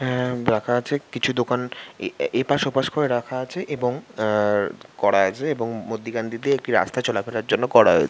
হ্যা রাখা আছে কিছু দোকান এপাশ ওপাশ করে রাখা আছে | এবং আ-র- করা আছে এবং মর্ধীখানটিতে একটি রাস্তা চলা ফেরার জন্য করা হয়েছে ।